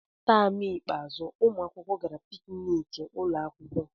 Taam ikpeazụ, ụmụ akwụkwọ gara pikniki ụlọ akwụkwọ.